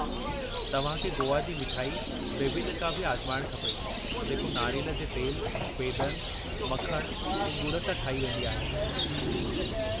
तव्हां खे गोवा जी मिठाई बेबिनका भी आज़माइणु खपे जेको नारेल जे तेल, बेदनि, मखणु ऐं ॻुड़ सां ठाही वेंदी आहे।